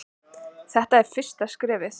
Þetta er fyrsta skrefið.